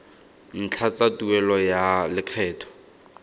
ntlha tsa tuelo ya lekgetho